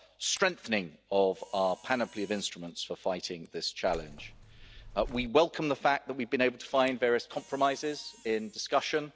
key strengthening of our panoply of instruments for fighting this challenge. We welcome the fact that we have been able to find various compromises in discussion.